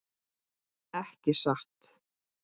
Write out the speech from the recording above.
Ekki satt.